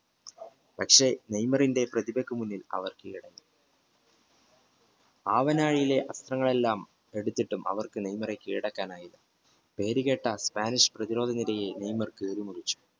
പക്ഷേ നെയ്മറിന്റെ പ്രതിഭയ്ക്ക് മുന്നിൽ അവർ കീഴടങ്ങി ഭാവനാഴിയിലെ അർത്ഥങ്ങൾ എല്ലാം അവർക്ക് എടുത്തിട്ടും അവർക്ക് നെയ്മറെ കീഴടക്കാൻ ആയില്ല പേരുകേട്ട സ്പാനിഷ് പ്രതിരോധനിരയെ നെയ്മർ